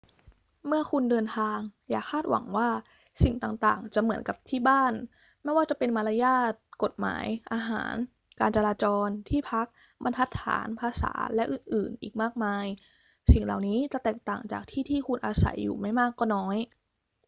เมื่อคุณเดินทาง อย่าคาดหวังว่าสิ่งต่างๆ จะเหมือนกับ ที่บ้าน ไม่ว่าจะเป็นมารยาท กฎหมาย อาหาร การจราจร ที่พัก บรรทัดฐาน ภาษา และอื่นๆ อีกมากมาย สิ่งเหล่านี้จะแตกต่างจากที่ที่คุณอาศัยอยู่ไม่มากก็น้อย